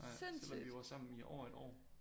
Ja selvom vi var sammen i over et år